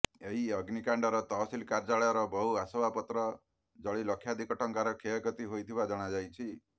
ଏହି ଅଗ୍ନିକାଣ୍ଡର ତହସିଲ କାର୍ଯ୍ୟାଳୟର ବହୁ ଆସବାବପତ୍ର ଜଳି ଲକ୍ଷାଧିକ ଟଙ୍କାର କ୍ଷୟକ୍ଷତି ହୋଇଥିବା ଜଣାଯାଇଛି